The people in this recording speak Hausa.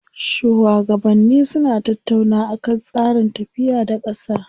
Shuwagabanni suna tattaunawa akan tsarin tafiya da ƙasa.